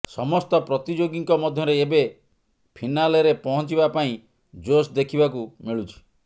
ସମସ୍ତ ପ୍ରତିଯୋଗୀଙ୍କ ମଧ୍ୟରେ ଏବେ ଫିନାଲେରେ ପହଞ୍ଚିବା ପାଇଁ ଜୋସ୍ ଦେଖିବାକୁ ମିଳୁଛି